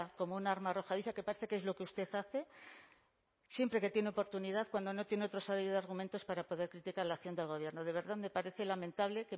como un arma arrojadiza que parece que es lo que usted hace siempre que tiene oportunidad cuando no tiene otra serie de argumentos para poder criticar la acción del gobierno de verdad me parece lamentable